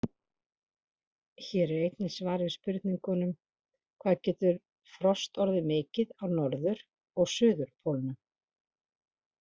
Hér er einnig svar við spurningunum: Hvað getur frost orðið mikið á norður- og suðurpólnum?